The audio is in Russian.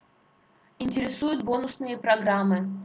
интересуют бонусные программы